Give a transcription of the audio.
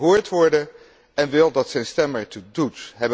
Hij wil gehoord worden en wil dat zijn stem ertoe doet.